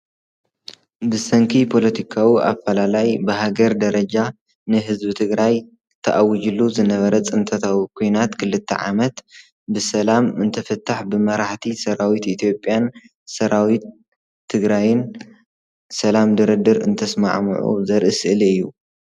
ብሰንኪ ፖለቲካዊ ኣፈላላይ ብሃገር ደርጃ ንህዝቢ ትግራይ ተኣውጅሉ ዝነብበረ ፅንተታዊ ኩናት ክልተ ዓመት ብሰላም እንትፍታሕ ብመራሕቲ ሰራዊት ኢትዮጲያን ሰራዊት ትግራይን ሰላም ድርድር እንትስማዕምዑ ዘርኢ ስእሊ እዩ።